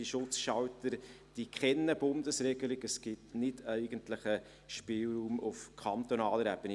Bei den Schutzschaltern kennt man eine Bundesregelung, es gibt eigentlich keinen Spielraum auf kantonaler Ebene.